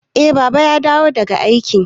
Eh Baba ya dawo daga aiki.